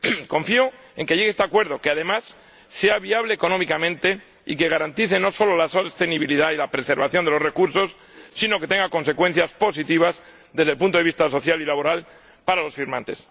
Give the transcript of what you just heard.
Confío en que llegue este acuerdo y en que, además, sea viable económicamente y no solo garantice la sostenibilidad y la preservación de los recursos, sino que tenga consecuencias positivas desde el punto de vista social y laboral para los firmantes.